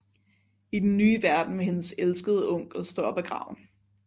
I den nye verden vil hendes elskede onkel stå op af graven